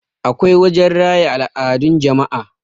akwai wajen raya al'adun jama'a